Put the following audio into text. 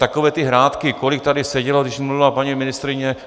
Takové ty hrátky, kolik tady sedělo, když mluvila paní ministryně...